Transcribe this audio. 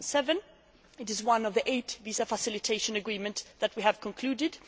2007. It is one of the eight visa facilitation agreements that we have concluded.